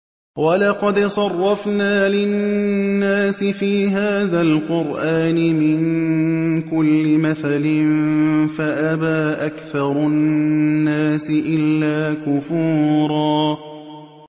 وَلَقَدْ صَرَّفْنَا لِلنَّاسِ فِي هَٰذَا الْقُرْآنِ مِن كُلِّ مَثَلٍ فَأَبَىٰ أَكْثَرُ النَّاسِ إِلَّا كُفُورًا